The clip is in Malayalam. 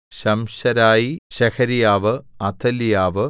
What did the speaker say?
ശംശെരായി ശെഹര്യാവു അഥല്യാവ്